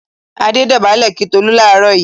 Adé dọ̀bálẹ̀ kí Tolú láàárọ̀ yìí.